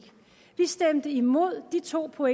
to og